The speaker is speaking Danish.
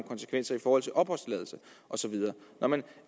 konsekvenser i forhold til opholdstilladelse osv når man